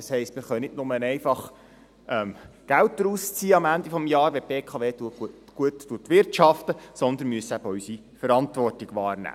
Das heisst, wir können nicht nur einfach am Ende des Jahres Geld daraus beziehen, wenn die BKW gut wirtschaftet, sondern müssen eben auch unsere Verantwortung wahrnehmen.